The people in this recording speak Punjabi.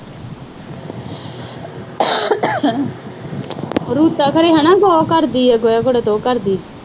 ਰੂਪਾ ਘਰੇ ਉਹ ਕਰਦੀ ਆ, ਜਯਾ ਘਰੇ ਤੂੰ ਕਰਦੀ।